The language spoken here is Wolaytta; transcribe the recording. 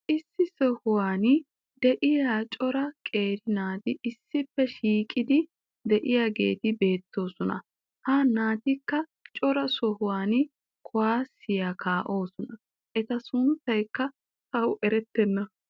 issi sohuwan diya cora qeeri naati issippe shiiqidi diyaageeti beetoosona. ha naatikka cora sohuwan kuwaassiya kaa'oosona. eta sunttaykka tawu eretenna.